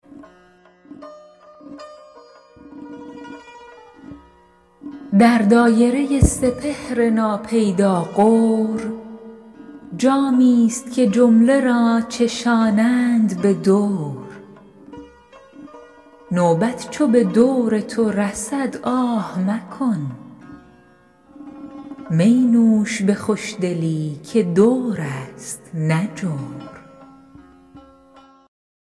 در دایره سپهر ناپیدا غور جامی ست که جمله را چشانند به دور نوبت چو به دور تو رسد آه مکن می نوش به خوشدلی که دور است نه جور